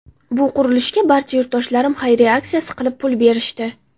Bu qurilishga barcha yurtdoshlarim xayriya aksiyasi qilib, pul berishdi.